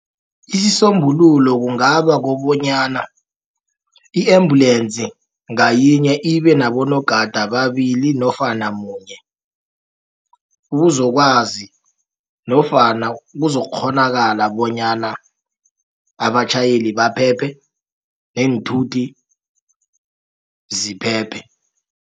Isisombululo kungaba kobonyana i-embulensi ngayinye ibe nabonogada ababili nofana munye ubuzokwazi nofana kuzokukghonakala bonyana abatjhayeli baphephe neenthuthi ziphephe.